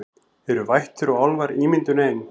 Eru vættir og álfar ímyndun ein